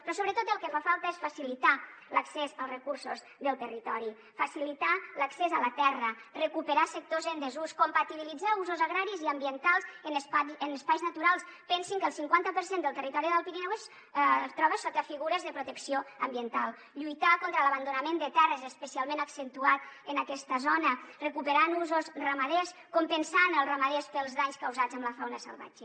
però sobretot el que fa falta és facilitar l’accés als recursos del territori facilitar l’accés a la terra recuperar sectors en desús compatibilitzar usos agraris i ambientals en espais naturals pensin que el cinquanta per cent del territori de l’alt pirineu es troba sota figures de protecció ambiental lluitar contra l’abandonament de terres especialment accentuat en aquesta zona recuperant usos ramaders compensant els ramaders pels danys causats per la fauna salvatge